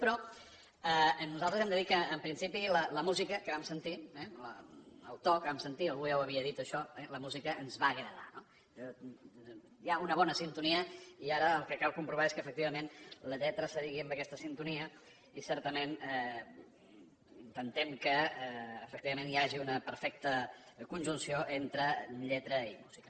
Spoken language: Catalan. però nosaltres hem de dir que en principi la música que vam sentir eh el to que vam sentir algú ja ho havia dit això la música ens va agradar hi ha una bona sintonia i ara el que cal comprovar és que efectivament la lletra s’adigui amb aquesta sintonia i certament intentem que efectivament hi hagi una perfecta conjunció entre lletra i música